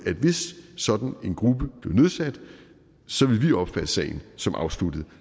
at hvis sådan en gruppe blev nedsat så ville vi opfatte sagen som afsluttet når